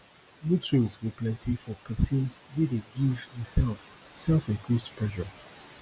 mood swings go plenti for pesin wey dey give himself self imposed pressure